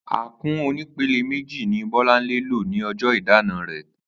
Àkún onípele méjì ni Bó̩lánlè lo ní o̩jó̩ ìdána rè̩